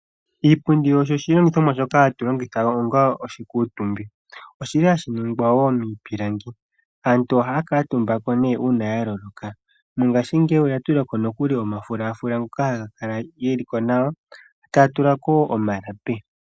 Iipundi osho oshilingithomwa shoka hatulongitha onga oshikuutumbwi ,oshili hashi ningwa wo miipilangi ,aantu ohaya kuutumbako nee uuna yaloloka ,mongaashingeyi oyatulako nokuli omafulaafula ngoka hagakala geliko nawa etaya tulako omalapi.